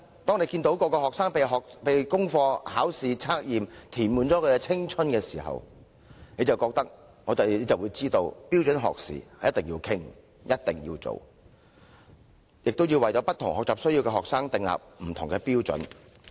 當大家看到學生的青春被功課、考試和測驗完全填滿的時候，便會明白有必要討論和處理標準學時的問題，亦要為有不同學習需要的學生訂定不同的標準。